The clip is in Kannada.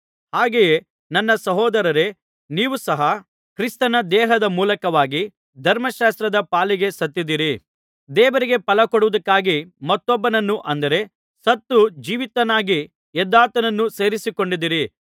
ಹಾಗೆಯೇ ನನ್ನ ಸಹೋದರರೇ ನೀವು ಸಹ ಕ್ರಿಸ್ತನ ದೇಹದ ಮೂಲಕವಾಗಿ ಧರ್ಮಶಾಸ್ತ್ರದ ಪಾಲಿಗೆ ಸತ್ತಿದ್ದೀರಿ ದೇವರಿಗೆ ಫಲಕೊಡುವುದಕ್ಕಾಗಿ ಮತ್ತೊಬ್ಬನನ್ನು ಅಂದರೆ ಸತ್ತು ಜೀವಿತನಾಗಿ ಎದ್ದಾತನನ್ನು ಸೇರಿಕೊಂಡಿದ್ದೀರಿ